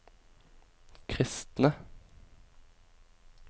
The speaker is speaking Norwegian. kristne